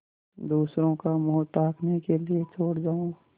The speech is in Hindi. दूसरों का मुँह ताकने के लिए छोड़ जाऊँ